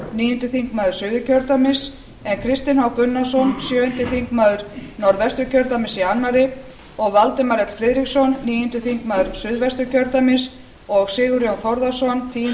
níundi þingmaður suðurkjördæmis en kristinn h gunnarsson sjöundi þingmaður norðvesturkjördæmis í öðru og valdimar l friðriksson níundi þingmaður suðvesturkjördæmis og sigurjón þórðarson